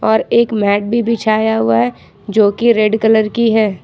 और एक मैट भी बिछाया हुआ है जो की रेड कलर की है।